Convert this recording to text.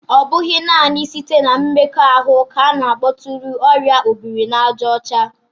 Ọ bụghị naanị site na mmekọahụ ka a na-akpọtụrụ oria obiri-na-aja ocha